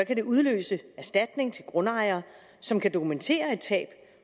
kan det udløse erstatning til grundejere som kan dokumentere et tab